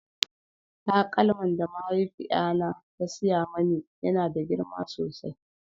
taƙalman da mahaifiƴa na ta siya mani ya na da girma sosai